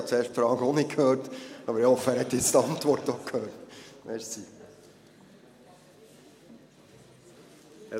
Ich habe zuerst die Frage auch nicht gehört, aber ich hoffe, er habe jetzt die Antwort gehört.